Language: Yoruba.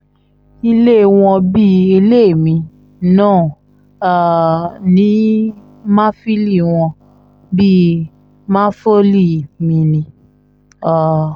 ilé wọn bíi ilé mi náà um ni màfìlì wọn bíi màfọ́lì mi ni um